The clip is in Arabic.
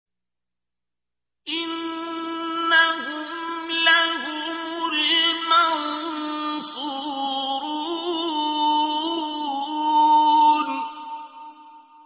إِنَّهُمْ لَهُمُ الْمَنصُورُونَ